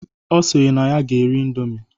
Ọ sịrị na ya ga-eri ịndomi